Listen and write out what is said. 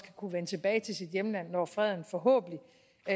kunne vende tilbage til sit hjemland når freden forhåbentlig